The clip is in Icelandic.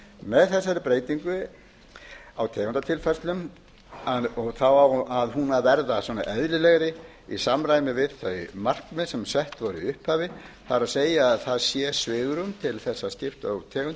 með þessari breytingu á tegundatilfærsla á hún að verða eðlilegri í samræmi við þau markmið sem sett voru í upphafi það er að það sé svigrúm til þess að skipta út tegundum í